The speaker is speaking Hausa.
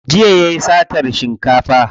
Jiya yayi satan shinkafa.